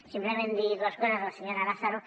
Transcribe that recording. simplement dir dues coses a la senyora lázaro